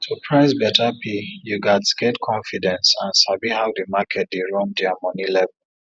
to price better pay you gats get confidence and sabi how the market dey run their money level